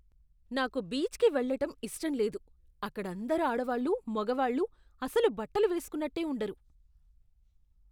నాకు బీచ్కి వెళ్ళటం ఇష్టం లేదు. అక్కడందరు ఆడవాళ్ళూ, మగవాళ్ళూ అసలు బట్టలు వేస్కున్నట్టే ఉండరు.